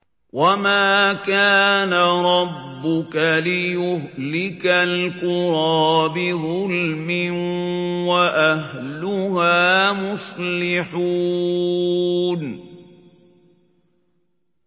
وَمَا كَانَ رَبُّكَ لِيُهْلِكَ الْقُرَىٰ بِظُلْمٍ وَأَهْلُهَا مُصْلِحُونَ